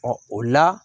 Ɔ o la